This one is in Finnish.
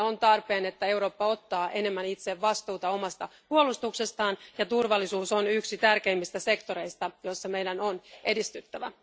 On tarpeen, että Eurooppa ottaa enemmän itse vastuuta omasta puolustuksestaan, ja turvallisuus on yksi tärkeimmistä sektoreista, joilla meidän on edistyttävä.